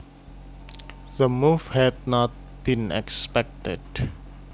The move had not been expected